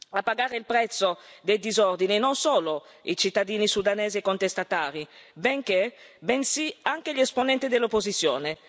A pagare il prezzo dei disordini non solo i cittadini sudanesi contestatari, bensì anche gli esponenti dell'opposizione.